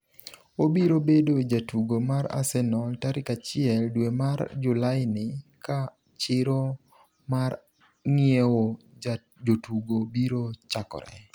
Obiro bedo jatugo mar Arsenal tarik 1 dwe mar Julaini ka chiro mar ng’iewo jotugo biro chakore.